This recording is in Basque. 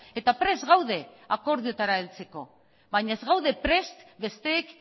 eta prest gaude akordiotara heltzeko baina ez gaude prest besteek